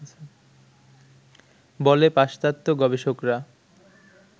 বলে পাশ্চাত্য গবেষকরা